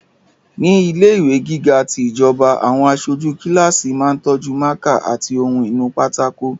Ní ilẹ̀ ìwé gíga ti ìjọba, àwọn aṣojú kíláàsì máa tọ́jú mákà àti ohun inú pátákó